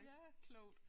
Ja klogt